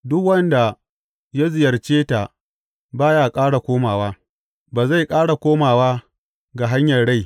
Duk wanda ya ziyarce ta ba ya ƙara komowa ba zai ƙara komowa ga hanyar rai.